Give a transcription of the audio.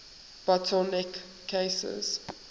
bottle neck cases